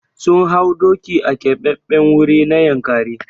Sun hau doki a Keɓaɓɓen wuri na Yankari.